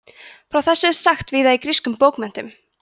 frá þessu er sagt víða í grískum bókmenntum